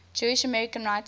jewish american writers